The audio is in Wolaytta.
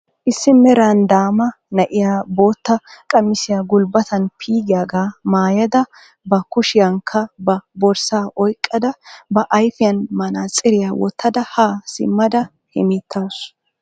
Issi meran daama na'iyaa bootta qamisiyaa gulbbataan pe'iyaagaa maayada ba kushiyaankka ba borssaa oyqqada ba ayfiyaa manaatsiriyaa woottada haa simmada hemettawus.